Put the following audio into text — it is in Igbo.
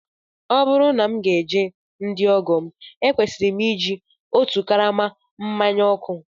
Ọ bụrụ na m ga-eje ndị ọgọ m, ekwesịrị m iji otu karama mmanya ọkụ